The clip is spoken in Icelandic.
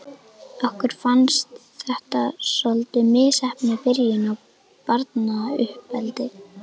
Okkur fannst þetta svolítið misheppnuð byrjun á barnauppeldi.